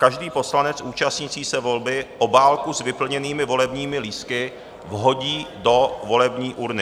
Každý poslanec účastnící se volby obálku s vyplněnými volebními lístky vhodí do volební urny.